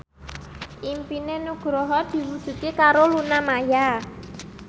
impine Nugroho diwujudke karo Luna Maya